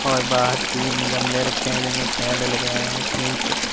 और बाहर तीन गमले रखे है जिनमें पेड़ लगे है तीन--